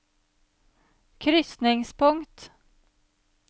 krysningspunkt